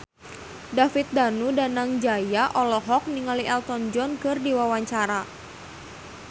David Danu Danangjaya olohok ningali Elton John keur diwawancara